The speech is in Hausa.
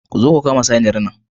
Zo ku kama saniyar nan